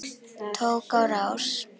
Tók á rás.